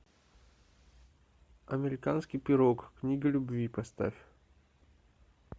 американский пирог книга любви поставь